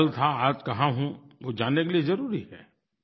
मैं कल था आज कहाँ हूँ वो जानने के लिए ज़रुरी है